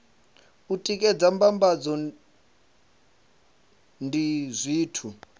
u tikedza mbambadzo ndi zwithu